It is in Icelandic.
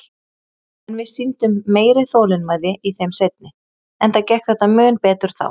En við sýndum meiri þolinmæði í þeim seinni, enda gekk þetta mun betur þá.